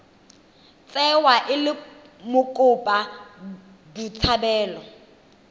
tsewa e le mokopa botshabelo